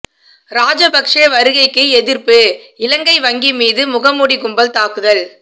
ராஜபக்சே வருகைக்கு எதிர்ப்பு இலங்கை வங்கி மீது முகமூடி கும்பல் தாக்குதல்